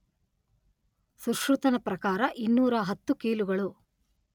ಸುಶ್ರುತನ ಪ್ರಕಾರ ಇನ್ನೂರಾ ಹತ್ತು ಕೀಲುಗಳು.